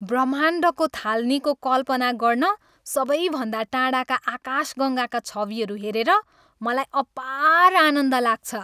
ब्रह्माण्डको थालनीको कल्पना गर्न सबैभन्दा टाढाका आकाशगङ्गाका छविहरू हेरेर मलाई अपार आनन्द लाग्छ।